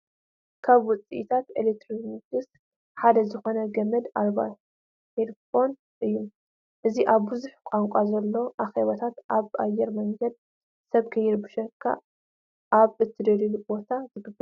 ካብ ውፅኢታት ኤሌክትሮኒክስ ሓደ ዝኾነ ገመድ ኣልባ ሄድ ፎን እዩ፡፡ እዚ ኣብ ብዙሕ ቋንቋ ዘለዎ ኣኼባታት፣ ኣብ ኣየር መንገድን ሰብ ከይርብሸካ ኣብ እትደለየሉ ቦታን ዝግበር እዩ፡፡